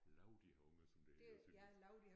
Lau de har unger som det hedder på sønderjysk